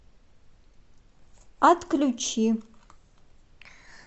отключи